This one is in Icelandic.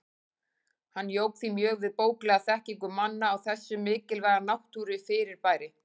Hann jók því mjög við bóklega þekkingu manna á þessu mikilvæga náttúrufyrirbæri.